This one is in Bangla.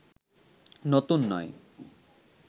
নতুন নয়